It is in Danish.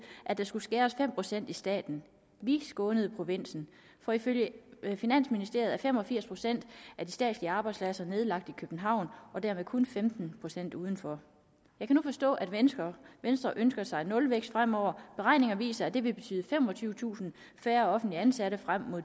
at der skulle skæres fem procent i staten vi skånede provinsen for ifølge finansministeriet er fem og firs procent af de statslige arbejdspladser nedlagt i københavn og dermed kun femten procent udenfor jeg kan nu forstå at venstre ønsker ønsker sig nulvækst fremover beregninger viser at det vil betyde femogtyvetusind færre offentligt ansatte frem mod